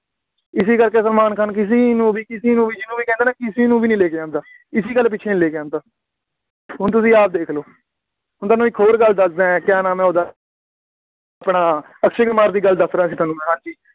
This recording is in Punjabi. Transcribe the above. ਇਸੀ ਕਰਕੇ ਸਲਮਾਨ ਖਾਨ ਕਿਸੀ ਨੂੰ ਵੀ, ਕਿਸੀ ਨੂੰ ਵੀ, ਜਿਹਨੂੰ ਵੀ ਕਹਿੰਦਾ ਨਾ, ਕਿਸੇ ਨੂੰ ਨਹੀਂ ਲੈ ਕੇ ਆਉਂਦਾ, ਇਸੀ ਗੱਲ ਪਿੱਛੇ ਨਹੀਂ ਲੈ ਕੇ ਆਉਂਦਾ, ਹੁਣ ਤੁਸੀਂ ਆਪ ਦੇਖ ਲਓ, ਹੁਣ ਤੁਹਾਨੂੰ ਇੱਕ ਹੋਰ ਗੱਲ ਦੱਸਦਾਂ, ਕਿਆਂ ਨਾਮ ਹੈ ਉਹਦਾ, ਆਪਣਾ, ਅਕਸ਼ੇ ਕੁਮਾਰ ਦੀ ਗੱਲ ਦੱਸ ਰਿਹਾ ਸੀ ਤੁਹਾਨੂੰ ਮੈਂ ਹਾਂ ਜੀ